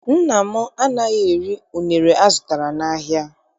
Nna m anaghị eri unere azụtara n'ahịa.